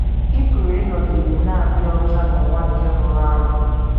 Ị Pụrụ Ịnọgide Na - adị Ọcha n’Ụwa Nke Rụrụ Arụ